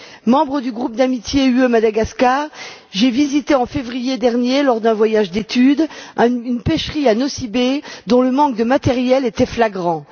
Membre du groupe d'amitié UE Madagascar, j'ai visité en février dernier, lors d'un voyage d'étude, une pêcherie à Nosy Be dont le manque de matériel était flagrant.